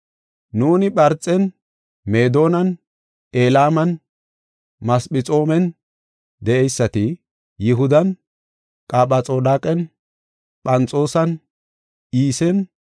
Nuuni Pharxen, Meedonan, Elaaman, Masephexoomen de7eysati, Yihudan, Qaphadooqan, Phanxoosan, Iisen,